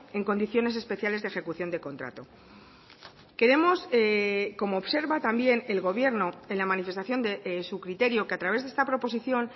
en condiciones especiales de ejecución de contrato queremos como observa también el gobierno en la manifestación de su criterio que a través de esta proposición